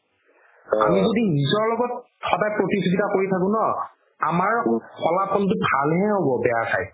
আমি যদি সদায় নিজৰ লগত প্ৰতিযোগিতা কৰি থাকো ন আমাৰ ফলাফলতো ভাল হে হ'ব বেয়াৰ থাইত